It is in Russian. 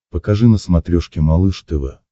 покажи на смотрешке малыш тв